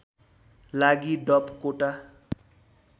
लागि डप कोटा